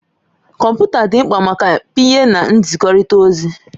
Kọmputa dị mkpa maka pịnye na nzikọrịta ozi.